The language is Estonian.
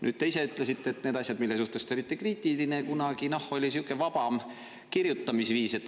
Nüüd te ise ütlesite nende asjade kohta, mille suhtes te olite kriitiline kunagi, et noh, siis oli sihuke vabam kirjutamisviis.